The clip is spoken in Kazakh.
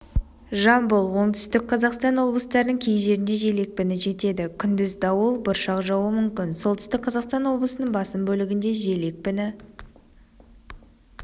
жамбыл оңтүстік қазақстан облыстарының кей жерінде жел екпіні жетеді күндіз дауыл бұршақ жаууы мүмкін солтүстік қазақстан облысының басым бөлігінде жел екпіні